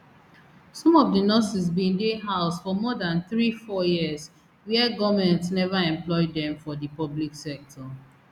some of di nurses bin dey house for more dan three four years wia goment neva employ dem for di public sector